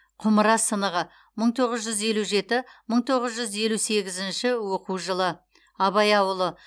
құмыра сынығы мың тоғыз жүз елу жеті мың тоғыз жүз елу сегізінші оқу жылы абай ауылы